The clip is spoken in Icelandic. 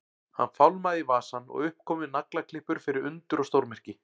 Hann fálmaði í vasann og upp komu naglaklippur fyrir undur og stórmerki.